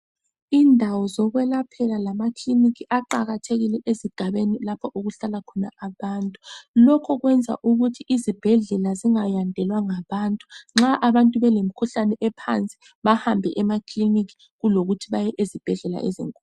Indawo zokwelaphela lamakiliniki aqakathekile ezigabeni lapho okuhlala khona abantu. Lokho kwenza ukuthi izibhedlela zingayandelwa ngabantu nxa abantu belemkhuhlane ephansi bahambe emakiliniki kulokuthi baye ezibhedlela ezinkulu.